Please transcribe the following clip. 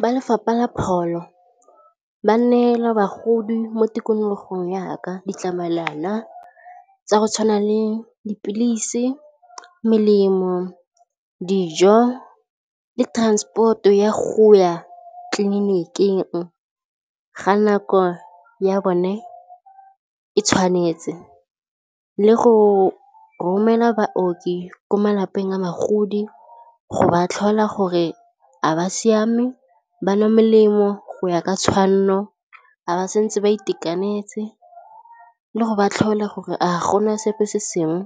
Ba Lefapha la Pholo, ba neela bagodi mo tikologong yaka ditlamelwana tsa go tshwana le dipilisi, melemo, dijo le transport-o ya go ya tleliniking ga nako ya bone e tshwanetse le go romela baoki ko malapeng a bagodi go ba tlhola gore a ba siame ba nwa melemo go ya ka tshwanno a ba santse ba itekanetse le go ba tlhola gore a gona sepe se sengwe